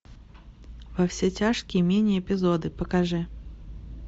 во все тяжкие мини эпизоды покажи